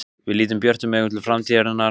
Við lítum björtum augum til framtíðarinnar.